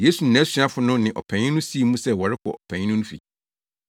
Yesu ne nʼasuafo no ne ɔpanyin no sii mu sɛ wɔrekɔ ɔpanyin no fi.